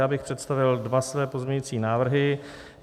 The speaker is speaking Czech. Já bych představil dva své pozměňovací návrhy.